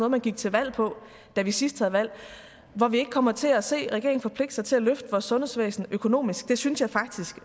man gik til valg på da vi sidst havde valg hvor vi ikke kommer til at se regeringen forpligte sig til at løfte vores sundhedsvæsen økonomisk det synes jeg faktisk